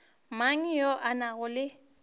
mang yo a nago le